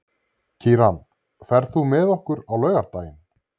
Kíran, ferð þú með okkur á laugardaginn?